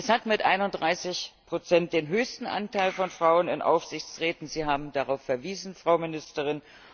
Es hat mit 31 den höchsten Anteil von Frauen in Aufsichtsräten, Sie haben darauf verwiesen, Frau Ministerin.